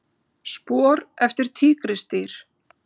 Spor eftir tígrisdýr.